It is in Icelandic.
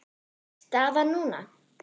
Staðan núna?